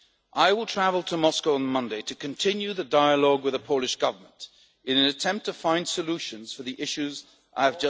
final. I will travel to Moscow on Monday to continue the dialogue with the Polish Government in an attempt to find solutions for the issues